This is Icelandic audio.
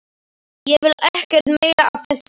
Ég vil ekkert meira af þessu vita.